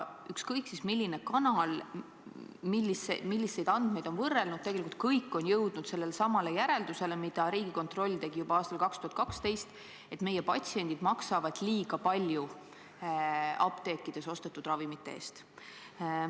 Ükskõik siis, milline kanal milliseid andmeid on võrrelnud, tegelikult kõik on jõudnud sellele samale järeldusele, mille Riigikontroll tegi juba aastal 2012, et meie patsiendid maksavad liiga palju apteekidest ostetud ravimite eest.